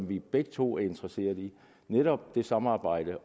vi jo begge to interesserede i netop det samarbejde